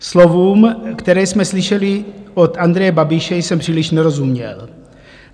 Slovům, která jsme slyšeli od Andreje Babiše, jsem příliš nerozuměl.